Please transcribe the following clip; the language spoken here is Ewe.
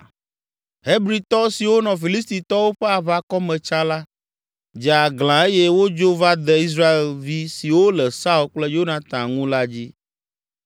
Hebritɔ siwo nɔ Filistitɔwo ƒe aʋakɔ me tsã la, dze aglã eye wodzo va de Israelvi siwo le Saul kple Yonatan ŋu la dzi.